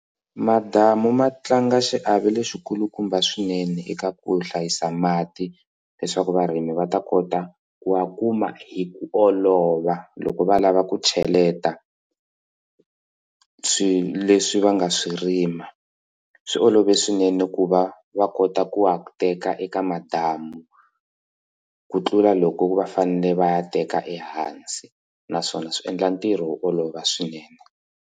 Madamu ma tlanga xiave lexikulukumba swinene eka ku hlayisa mati leswaku varimi va ta kota ku a kuma hi ku olova loko va lava ku cheleta swilo leswi va nga swi rima swi olove swinene ku va va kota ku teka eka madamu ku tlula loko va fanele va ya teka ehansi naswona swi endla ntirho wo olova swinene.